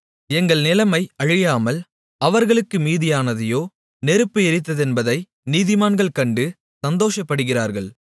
எங்கள் நிலைமை அழியாமல் அவர்களுக்கு மீதியானதையோ நெருப்பு எரித்ததென்பதை நீதிமான்கள் கண்டு சந்தோஷப்படுகிறார்கள்